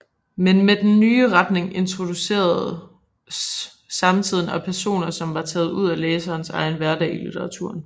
Men med den nye retning introduceredes samtiden og personer som var taget ud fra læsernes egen hverdag i litteraturen